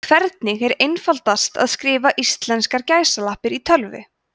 hvernig er einfaldast að skrifa íslenskar gæsalappir í tölvu